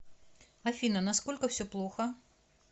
афина насколько все плохо